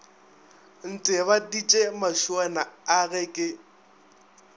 ntebaditše mašuana a ge ke